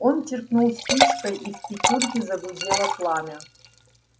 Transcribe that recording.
он чиркнул спичкой и в печурке загудело пламя